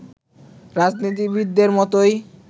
রাজনীতিবিদদের মতোই